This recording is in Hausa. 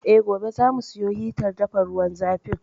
Eh, gobe za mu siyo hitar dafa ruwan zafin.